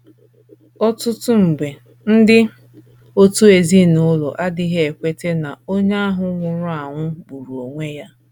Ọtụtụ mgbe, ndị òtù ezinụlọ adịghị ekweta na onye ahụ nwụrụ anwụ gburu onwe ya.